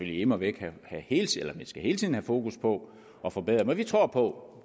immer væk hele tiden have fokus på at forbedre og vi tror på